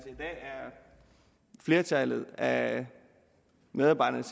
flertallet af medarbejderne